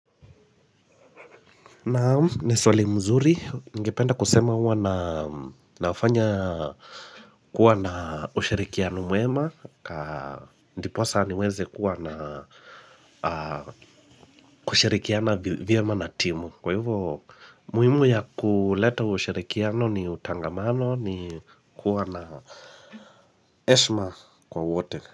Naam, i swali mzuri, ningependa kusema huwa na fanya kuwa na ushirikiano mwema Ndiposa niweze kuwa na kushirikiana vyema na timu Kwa hivyo, muhimu ya kuleta ushirikiano ni utangamano ni kuwa na heshima kwa wote.